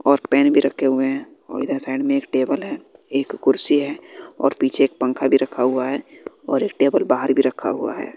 और पेन भी रक्खे हुए है और इधर साइड में एक टेबल है एक कुर्सी है और पीछे एक पंखा भी रखा हुआ है और एक टेबल बाहर भी रखा हुआ है।